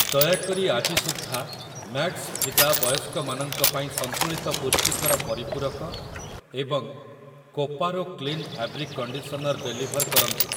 ଦୟାକରି ଆଜି ସୁଦ୍ଧା ମ୍ୟାକ୍ସଭିଦା ବୟସ୍କମାନଙ୍କ ପାଇଁ ସନ୍ତୁଳିତ ପୁଷ୍ଟିକର ପରିପୂରକ ଏବଂ କୋପାରୋ କ୍ଳିନ ଫାବ୍ରିକ୍ କଣ୍ଡିସନର୍ ଡେଲିଭର୍ କରନ୍ତୁ ।